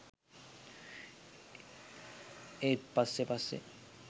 ඒත් පස්සෙ පස්සෙ